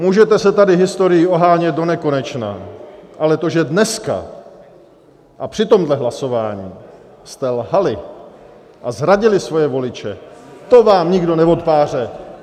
Můžete se tady historií ohánět do nekonečna, ale to, že dneska a při tomhle hlasování jste lhali a zradili svoje voliče, to vám nikdo neodpáře.